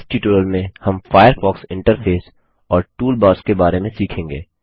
इस ट्यूटोरियल में हम फ़ायरफ़ॉक्स इंटरफेस और टूलबार्स के बारे में सीखेंगे